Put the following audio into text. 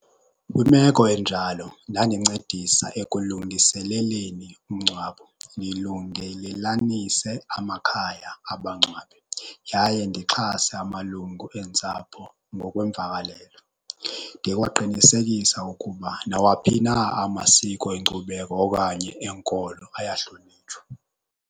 Kwimeko enjalo ndandincedisa ekulungiseleleni umngcwabo. Ndilungelelanise amakhaya abagcwabi yaye ndixhase amalungu eentsapho ngokwemvakalelo. Ndikwaqinisekisa ukuba nawaphi na amasiko enkcubeko okanye enkolo ayahlonitshwa.